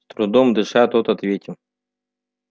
с трудом дыша тот ответил